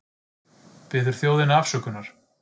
Biður þjóðina afsökunar